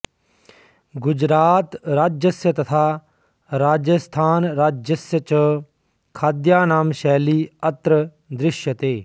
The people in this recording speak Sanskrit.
गुजरातराज्यस्य तथा राजस्थानराज्यस्य च खाद्यानां शैली अत्र दृश्यते